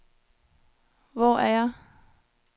Hvor er jeg